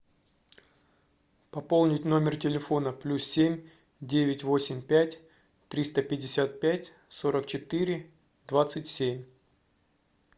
пополнить номер телефона плюс семь девять восемь пять триста пятьдесят пять сорок четыре двадцать семь